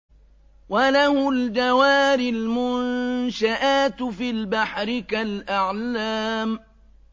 وَلَهُ الْجَوَارِ الْمُنشَآتُ فِي الْبَحْرِ كَالْأَعْلَامِ